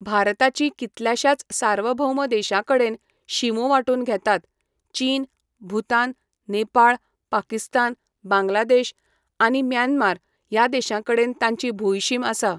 भारताचीं कितल्याशाच सार्वभौम देशांकडेन शिमो वांटून घेतात, चीन, भूतान, नेपाळ, पाकिस्तान, बांगलादेश आनी म्यानमार ह्या देशांकडेन ताची भूंयशीम आसा.